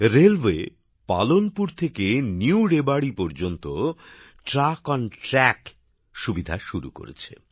railway Palanpur থেকে new রেবাড়ী পর্যন্ত ট্রাক অন ট্র্যাক সুবিধা শুরু করেছে